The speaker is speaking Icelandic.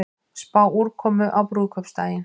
Spá úrkomu á brúðkaupsdaginn